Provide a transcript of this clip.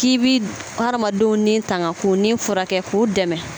K'i bi hadamadenw ni tanga k'o ni furakɛ k'o dɛmɛ.